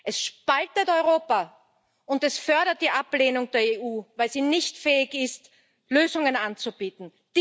Es spaltet Europa, und es fördert die Ablehnung der EU, weil sie nicht fähig ist, Lösungen anzubieten.